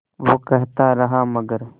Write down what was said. वो कहता रहा मगर